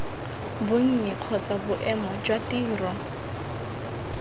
bonnye kgotsa boemo jwa tiro